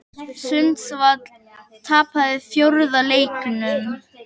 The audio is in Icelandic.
Sundsvall tapaði fjórða leiknum